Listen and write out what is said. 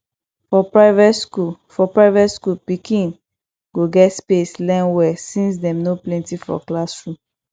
for private skool for private skool pikin go get space learn well since dem no plenty for classroom